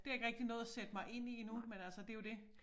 Det har jeg ikke rigtig nået at sætte mig ind i endnu men altså det jo det